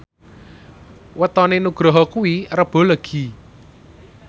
wetone Nugroho kuwi Rebo Legi